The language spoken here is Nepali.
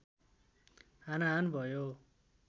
हानाहान भयो